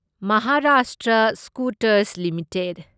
Maharashtra Scooters limited